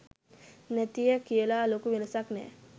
නැතිය කියලා ලොකු වෙනසක් නෑ